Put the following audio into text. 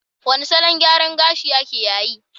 Wane salon gyaran gashiake yayi?